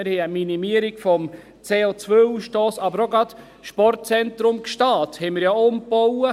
Wir haben eine Minimierung des CO-Ausstosses, aber wir haben ja auch gerade das Sportzentrum Gstaad umgebaut.